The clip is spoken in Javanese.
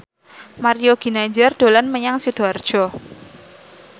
Mario Ginanjar dolan menyang Sidoarjo